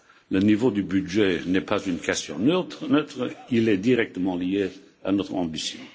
Le niveau du budget n'est pas une question neutre, il est directement lié à notre ambition.